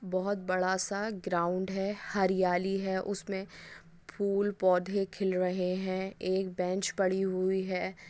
बहुत बड़ा सा ग्राउडं है हरियाई है उसमे फूल पौधे खिल रहे है एक बेंचे पड़ी कहुई है|